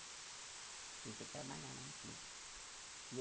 Tinha que ir trabalhar lá no clube.